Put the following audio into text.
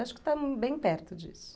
Acho que estou bem perto disso.